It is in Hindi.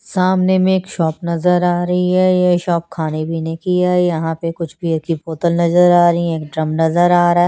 सामने मे एक शॉप नजर आ रही है ये शॉप खाने पीने की है यहाँ पे कुछ बीयर की बोतल नजर आ रही है एक ड्रम नजर आ रहा है ।